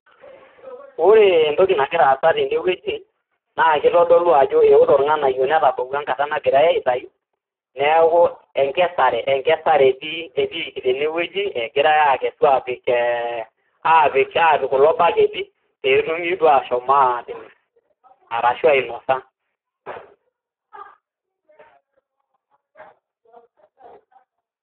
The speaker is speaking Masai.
Ore entoki nagira aasa tenewueji naa kitodolu ajo eotok irng'anayio netabawua enkata nagirae aitayu neeku enkesare, enkesare etii etiiki tene wueji , egirae akesu apik apik, apik kulo baketi petumi duo ashom atimir arashu ainosa.